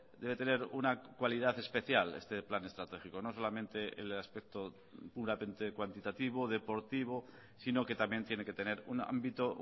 debe tener una cualidad especial este plan estratégico no solamente el aspecto puramente cuantitativo deportivo sino que también tiene que tener un ámbito